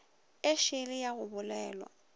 e šele ya go bolelwa